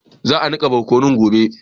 Za a niƙa borkunun gobe.